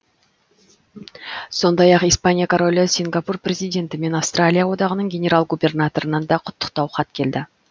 сондай ақ испания королі сингапур президенті мен австралия одағының генерал губернаторынан да құттықтау хат келді